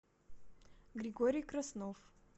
григорий краснов